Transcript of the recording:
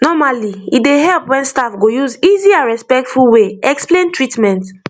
normally e dey help when staff go use easy and respectful way explain treatment